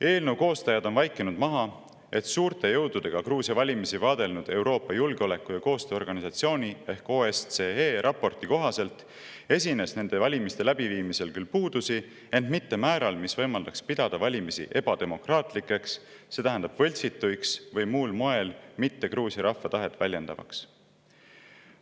Eelnõu koostajad on vaikinud maha, et suurte jõududega Gruusia valimisi vaadelnud Euroopa Julgeoleku- ja Koostööorganisatsiooni ehk OSCE raporti kohaselt esines nende valimiste läbiviimisel küll puudusi, ent mitte määral, mis võimaldaks pidada valimisi ebademokraatlikeks, see tähendab võltsituks või muul moel mitte Gruusia rahva tahet väljendavaks.